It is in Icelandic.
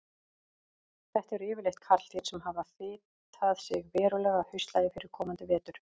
Þetta eru yfirleitt karldýr sem hafa fitað sig verulega að haustlagi fyrir komandi vetur.